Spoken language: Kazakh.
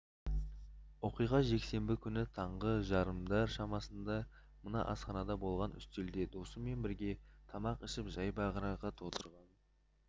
оқиға жексенбі күні таңғы жарымдар шамасында мына асханада болған үстелде досымен бірге тамақ ішіп жайбарақат отырған